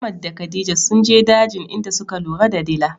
Ahmad da khadija sunje dajin inda suka lura da dila.